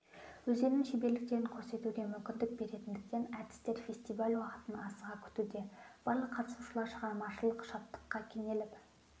өздерінің шеберліктерін көрсетуге мүмкіндік беретіндіктен әртістер фестиваль уақытын асыға күтуде барлық қатысушылар шығармашылық шаттыққа кенеліп